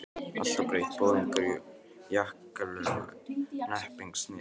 Allt var breytt, boðungar, jakkalöf, hnepping, snið.